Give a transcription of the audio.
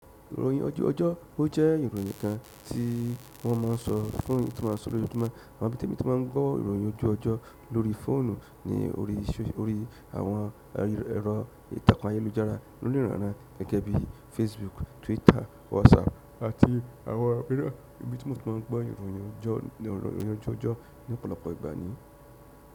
Ìròhìn ojú ọjọ́, o jẹ́ ìròhìn kan tí wọ́n ma ń sọ fún ni, tí wọ́n ma ń sọ ní ojoojúmọ́, amo ibi tẹ́mi tí ma ń gbọ́ ìròhìn ojú ọjọ́ lórí fóònù ní orí àwọn ẹ̀rọ ìtàkùn ayélujára, lóríran iran gẹ́gẹ́ bí Facebook, Twitter, WhatsApp àti àwọn app náà, ibi tí mo ti ma n gbọ ìròhìn ojú ọjọ́ ní ọ̀pọ̀lọpọ̀ ìgbà ní.